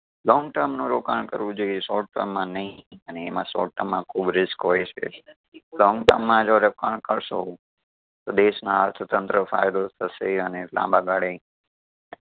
long term નું રોકાણ કરવું જોઈએ short term માં નઈ અને એમાં short term માં ખૂબ risk હોય છે long term જો રોકાણ કરશો તો દેશના અર્થતંત્ર ફાયદો થશે અને લાંબાગાળે